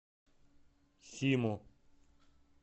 симу